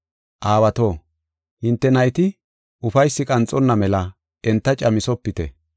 Aawato, hinte nayti ufaysi qanxonna mela enta camethofite.